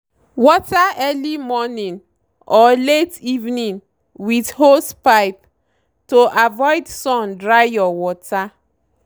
water early morning or late evening with hosepipe to avoid sun dry your water.